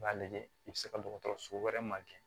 I b'a lajɛ i bi se ka dɔgɔtɔrɔso wɛrɛ ma kɛ